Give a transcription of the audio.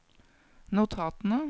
notatene